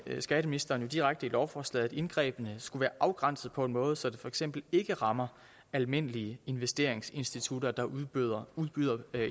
skatteministeren jo direkte i lovforslaget at indgrebene skulle være afgrænset på en måde så det for eksempel ikke rammer almindelige investeringsinstitutter der udbyder